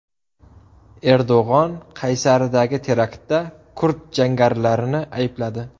Erdo‘g‘on Qaysaridagi teraktda kurd jangarilarini aybladi.